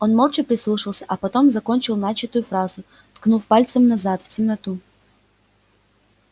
он молча прислушался а потом закончил начатую фразу ткнув пальцем назад в темноту